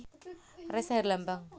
Ressa Herlambang